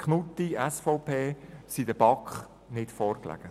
Schlup/Knutti lagen der BaK nicht vor.